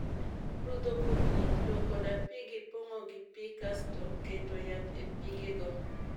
Rudho kupni, luoko dapi gi pong'o gi pii kasto keto yath e pige go